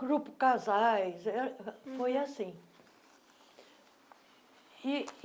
grupo casais eh, uhum foi assim.